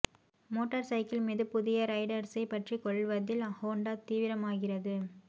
motor cycle மீது புதிய ரைடர்ஸைப் பற்றிக் கொள்வதில் ஹோண்டா தீவிரமாகிறது